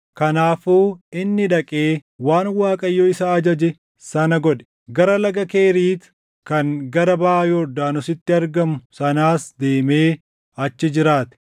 Kanaafuu inni dhaqee waan Waaqayyo isa ajaje sana godhe. Gara Laga Keriit kan gara baʼa Yordaanositti argamu sanaas deemee achi jiraate.